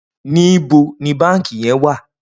Nibó ni bànkí yèn wà?